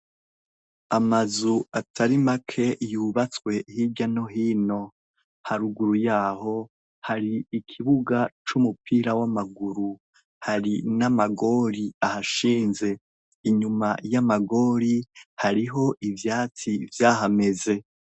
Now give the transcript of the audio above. Amazu atari make yubatswe hirya no hino , haruguru yaho, hari ikibuga c’umupira w’amaguru, hari n’amagori ahashinze , inyuma yamagori hariho ivyatsi vyahameze.